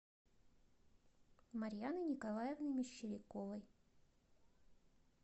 марьяны николаевны мещеряковой